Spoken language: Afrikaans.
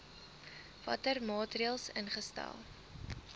watter maatreëls ingestel